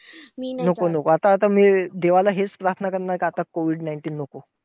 नको नको! आता आता मी देवाला हेच प्रार्थना करणार हे, का आता COVID nineteen नको.